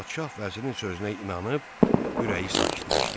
Padşah vəzirin sözünə inanıb, ürəyi sakitləşdi.